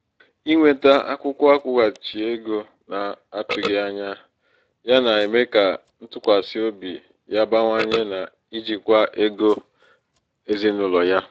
inweta akwụkwọ akwụghachi ego na-atụghị anya ya na-eme ka ntụkwasị obi ya bawanye n’ijikwa ego ezinụlọ ya